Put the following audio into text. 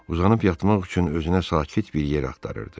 Uzanıb yatmaq üçün özünə sakit bir yer axtarırdı.